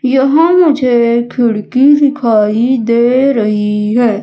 यहां मुझे खिड़की दिखाई दे रही है।